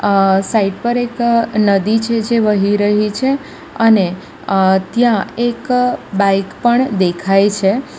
આ સાઇડ પર એક નદી છે જે વહી રહી છે અને અ ત્યાં એક બાઈક પણ દેખાય છે.